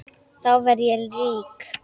Þá verð ég rík.